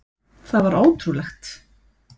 Það var ótrúlegt.